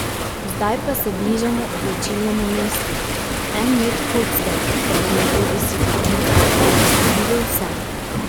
Zdaj pa se bližamo odločilnemu mestu, en met kocke, pa bomo bodisi dobili ali izgubili vse.